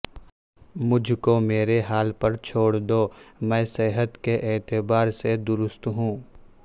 مجھ کو میرے حال پر چھوڑ دو میں صحت کے اعتبار سے درست ہوں